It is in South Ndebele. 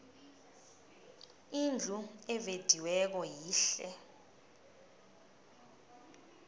indlu evediweko yihle